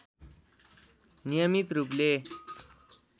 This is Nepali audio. नियमित रूपले